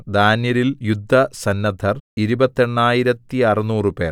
ദാന്യരിൽ യുദ്ധസന്നദ്ധർ ഇരുപത്തെണ്ണായിരത്തറുനൂറുപേർ